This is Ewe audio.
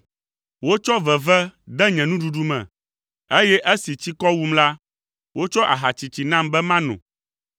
Wotsɔ veve de nye nuɖuɖu me, eye esi tsikɔ wum la, wotsɔ aha tsitsi nam be mano.